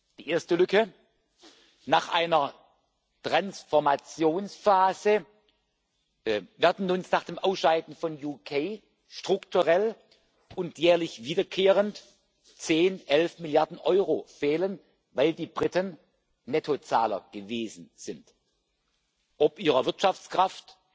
Die erste Lücke Nach einer Transformationsphase werden uns nach dem Ausscheiden des Vereinigten Königreichs strukturell und jährlich wiederkehrend zehn, elf Milliarden Euro fehlen, weil die Briten Nettozahler gewesen sind ob ihrer Wirtschaftskraft,